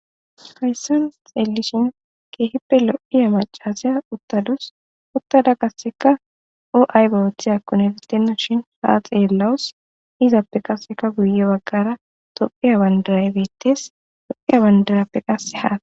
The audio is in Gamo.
hayssan xeellishin keehippe lo7iya macaziya uttadus uttada kasseka o7ay bawothi akkun elitenna shin haa xeellawus izappe qaseka guye baggara tophiya wandara biittes tophiya wandarappe qase haa